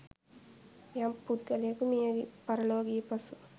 යම් පුද්ගලයෙකු මිය පරලොව ගිය පසු